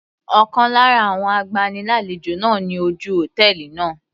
Ọ̀kan lára àwọn agbani lálejò náà ni ojú hòtẹ́ẹ̀lì náà.